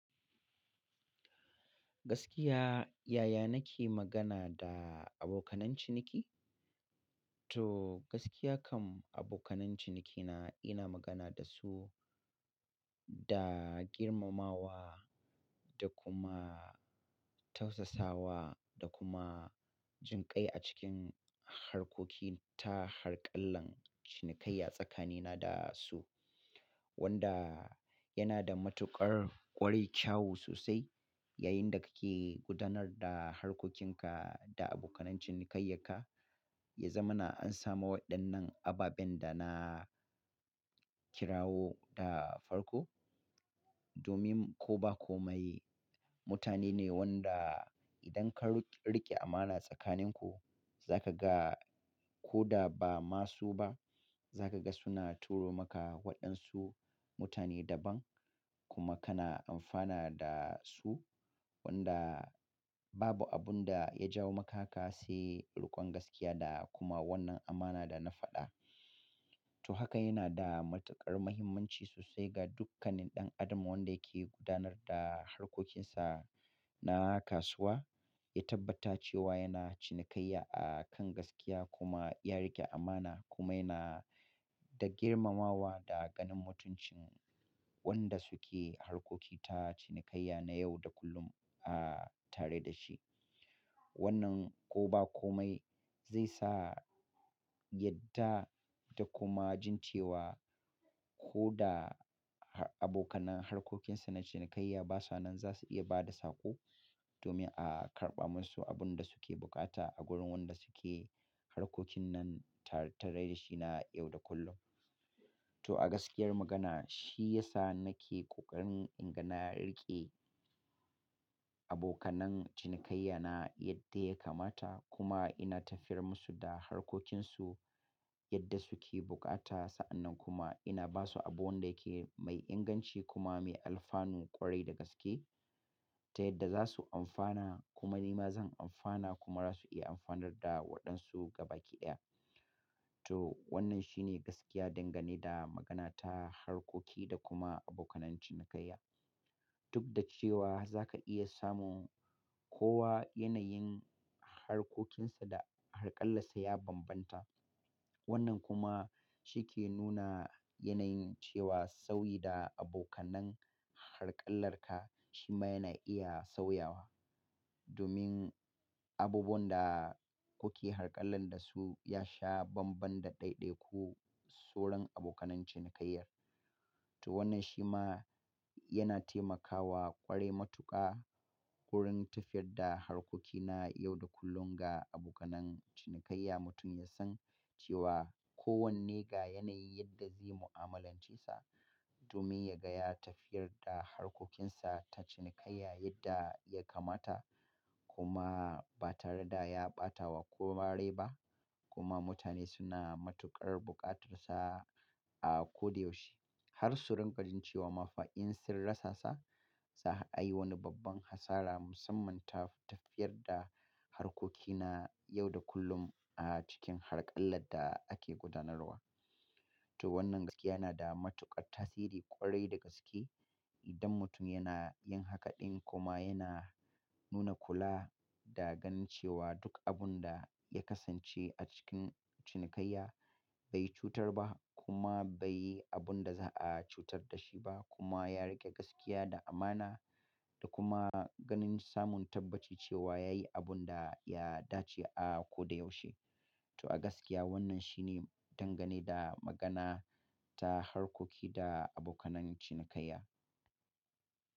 Gaskiya, yaya nake magana da abokanan ciniki? To gaskiya kam abokanan cinikina ina magana da su da girmamawa da kuma tausasawa da kuma jin kai a cikin harkoki ta harƙallan cinikai a tsakanina da su wanda yana da matuƙar ƙwarai kyawu sosai. Yayin da kake gudanar da harkokinka da abokanan cinikayanka, ya zamana an samu waɗannan ababen da na kirawo da farko domin ko ba komai mutane ne wanda idan ka rike amana tsakaninku za ka ga ko da ba masu ba za ka ga suna turo maka waɗansu mutane daban kuma kana amfana da su wanda babu abun da ya jawo maka haka sai riƙon gaskiya da kuma wannan amana da na faɗa. To haka yana da matuƙar muhimmanci sosai ga dukkanin ɗan adam wanda yake gudanar da harkokinsa na kasuwa ya tabbata cewa yana cinikayya a kan gaskiya kuma ya riƙe amana kuma yana da girmamawa da ganin mutuncin waɗan suke harkoki ta cinikayya na yau da kullum a tare da shi. Wannan ko ba komai zai sa yadda da kuma jin cewa ko da abokanan harkokinsa na cinikayya ba sa nan za su iya ba da sako domin a karɓa musu abun da suke bukata a gurin wanda suke harkokin nan tare da shi na yau da kullum. To a gaskiyar magana shi ya sa nake ƙoƙarin inga na riƙe abokanan cinikayya na yadda ya kamata kuma ina tafiyar musu da harkokinsu yadda suke bukata sa'annan kuma ina basu abu wanda yake mai inganci kuma mai alfanu ƙwarai da gaske ta yadda zasu amfana kuma nima zan amfana kuma zasu iya amfanar da wadan su ga baki daya. To wannan shi ne gaskiya dangane da magana ta harkoki da kuma abokanan cinikayya. Duk da cewa za ka iya samun kowa yanayin harkokinsa da harƙallarsa ya bambanta. Wannan kuma shi ke nuna yanayin cewa sauyi da abokan harƙallarka shi ma yana iya sauyawa domin abubuwan da kuke harkalla da su ya sha banban da ɗaiɗaiku soron abokanan cinikayyar. To wannan shi ma yana taimakawa ƙware matuƙa wurin tafiyar da harkokina yau da kullum ga abokan cinikayya mutum ya san cewa kowanne ga yanayin yadda zai mu'amalance sa domin ya ga ya tafiyar da harkokinsa ta cinikayya yadda ya kamata kuma ba tare da ya ɓatawa kowa rai ba kuma mutane suna matuƙar bukatarsa a ko da yaushe. Har su rinka jin cewa ma fa in sun rasa sa, za a yi wani babban hasara musamman tafiyar da harkokina yau da kullum a cikin harƙallar da ake gudanarwa. Toh wanan gaskiya yana da matukar tasiri kwarai da gaske idan mutum yana yin haka din kuma yana nuna kulla da ganin cewa duk abun da ya kasance a cikin cinikayya bai cutar ba kuma bai yi abun da za a cutar da shi ba kuma ya riƙe gaskiya da amana da kuma ganin samun tabbaci cewa ya yi abun da ya dace a ko da yaushe. To a gaskiya wannan shi ne dangane da magana ta harkoki da abokan cinikayya.